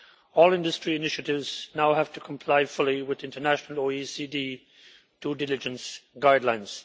All industry initiatives now have to comply fully with international OECD due diligence guidelines.